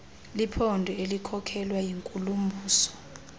liphondo elikhokelwa yinkulumbuso